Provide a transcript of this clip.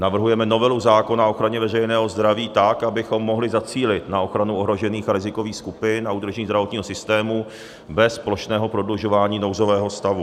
Navrhujeme novelu zákona o ochraně veřejného zdraví tak, abychom mohli zacílit na ochranu ohrožených a rizikových skupin a udržení zdravotního systému bez plošného prodlužování nouzového stavu.